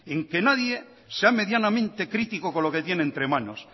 en que nadie sea medianamente crítico con lo que tiene entre manos